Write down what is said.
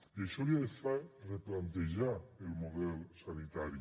i això li ha de fer replantejar el model sanitari